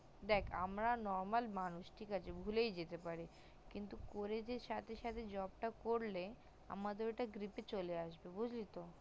দেখ আমরা normal মানুষ ঠিক আসে ভুলেই যেতে পারে কিন্তু করে যে সাথে সাথে job করলে আমাদের ওটা great এ চলে আসলো বুজলি তো